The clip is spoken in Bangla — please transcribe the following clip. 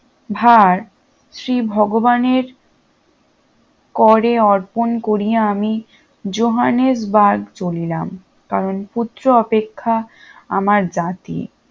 ভার শ্রী ভগবানে করে অর্পণ করিয়া আমি জোহানসবার্গ চলিলাম কারণ পুত্র অপেক্ষা আমার জাতি